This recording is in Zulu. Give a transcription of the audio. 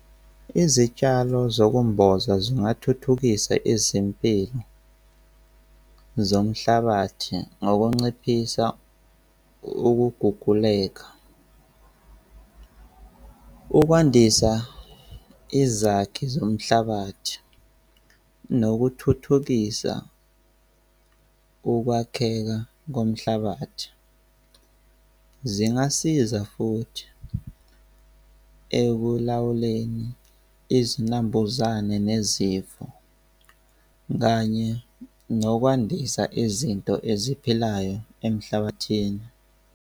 Izitshalo zokumboza zingathuthukisa izimpilo zomhlabathi ngokunciphisa ukuguguleka, ukwandisa izakhi zomhlabathi nokuthuthukisa ukwakheka komhlabathi. Zingasiza futhi ekulawuleni izinambuzane nezifo kanye nokwandisa izinto eziphilayo emhlabathini.